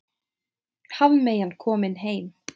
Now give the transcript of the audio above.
Hafmeyjan komin heim